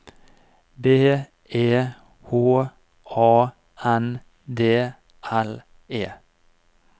B E H A N D L E